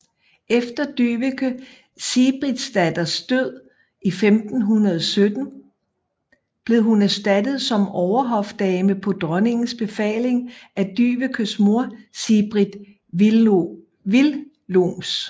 Efter Dyveke Sigbrittsdatters død i 1517 blev hun erstattet som overhofdame på dronningens befaling af Dyvekes mor Sigbrit Willoms